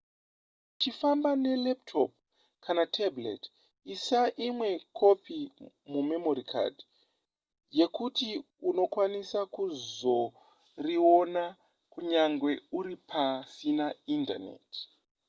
kana uchifamba nelaptop kana tablet isa imwe kopi mumemory card yekuti unokwanisa kuzoriona kunyange uri pasina indaneti